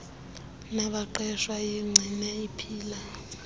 nabaqeshwa iyigcine iphila